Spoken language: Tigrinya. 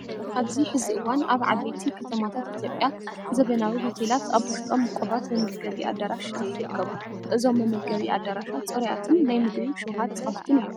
ኣብዚ ሕዚ እዋን ኣብ ዓበይቲ ከተማታት ኢትዮጵያ ዘበናዊ ሆቴላት ኣብ ውሽጦም ውቁባት መመገቢ ኣዳራሻት ይርከቡ። እዞም መመገቢ ኣዳራሻት ፅሩያትን ናይ ምግቢ ሽውሃት ዝኸፍቱን እዮም።